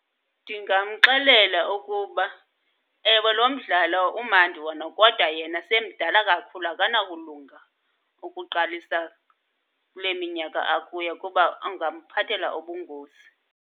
Ndingamxelela ukuba, ewe, lo mdlalo umandi wona kodwa yena semdala kakhulu. Akanakulunga ukuqalisa kule minyaka akuyo, kuba ungamphathela ubungozi.